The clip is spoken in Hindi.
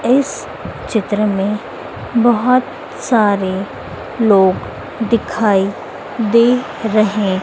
इस चित्र में बहोत सारे लोग दिखाई दे रहे।